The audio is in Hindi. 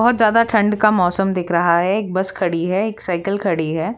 बहुत ज्यादा ठंड का मौसम दिख रहा है एक बस खड़ी है एक साइकिल खड़ी है।